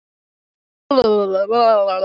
En ég þarf að ná áttum.